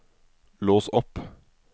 lås opp